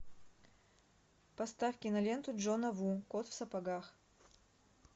поставь киноленту джона ву кот в сапогах